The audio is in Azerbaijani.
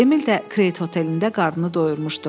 Emil də Kret hotelində qarnını doyurmuşdu.